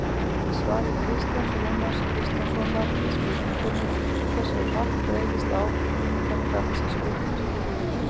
Í svari Kristjáns Rúnars Kristjánssonar við spurningunni Hversu hratt breiðast áhrif þyngdarkraftsins út?